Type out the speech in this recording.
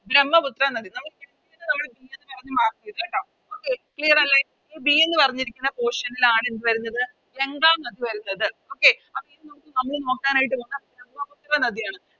ബ്രമ്മപുത്ര നദി നമുക്ക് Clear അല്ലെ ഈ B എന്ന് പറഞ്ഞിരിക്കുന്ന Portion ൽ ആണ് എന്ത് വരുന്നത് ഗംഗ നദി വരുന്നത് Okay അപ്പൊ നമ്മള് നോക്കാനായിട്ട് പോകുന്ന ബ്രമ്മപുത്ര നദിയാണ്